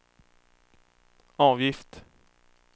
avgift